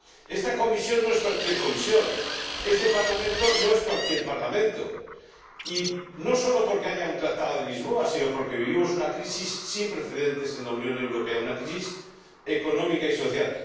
Esta Comisión no es cualquier Comisión, este Parlamento no es cualquier Parlamento, y no sólo porque haya un Tratado de Lisboa, sino porque vivimos una crisis sin precedentes en la Unión Europea, una crisis económica y social.